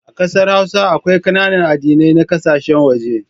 A kasar hausa, akwai kananan addinai na kasashen waje.